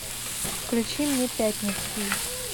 включи мне пятницкий